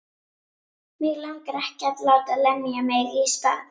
Mig langar ekki að láta lemja mig í spað.